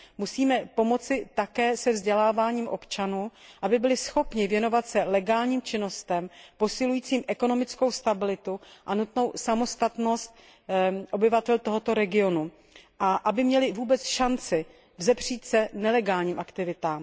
Musíme pomoci také se vzděláváním občanů, aby byli schopni věnovat se legálním činnostem posilujícím ekonomickou stabilitu a nutnou samostatnost obyvatel tohoto regionu a aby měli vůbec šanci vzepřít se nelegálním aktivitám.